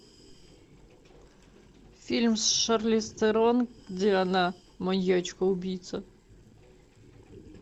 фильм с шарлиз терон где она маньячка убийца